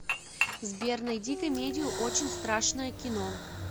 сбер найди комедию очень страшное кино